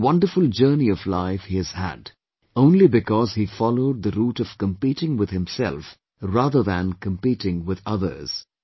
What a wonderful journey of life he has had, only because he followed the route of competing with himself rather than competing with others